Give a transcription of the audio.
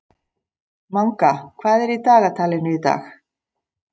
Manga, hvað er í dagatalinu í dag?